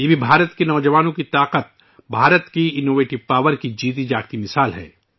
یہ بھی بھارت کی نوجوان قوت کی ایک واضح مثال ہے بھارت کی اختراعی قوت